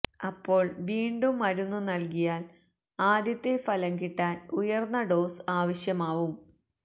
അപ്പോള് വീണ്ടും മരുന്നു നല്കിയാല് ആദ്യത്തെ ഫലം കിട്ടാന് ഉയര്ന്ന ഡോസ് ആവശ്യമാവും